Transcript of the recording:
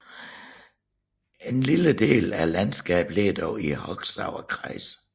En lille del af landskabet ligger dog i Hochsauerlandkreis